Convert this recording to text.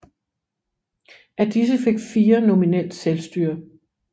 Af disse fik fire nominelt selvstyre